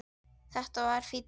Þetta var fínn dagur.